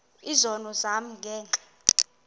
izono zam ngenxa